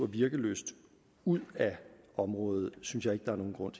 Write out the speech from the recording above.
virkelyst ud af området synes jeg ikke der er nogen grund